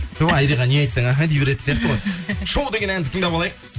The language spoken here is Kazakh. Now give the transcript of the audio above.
ту айриға не айтсаң іхі дей беретін сияқты ғой шоу деген әнді тыңдап алайық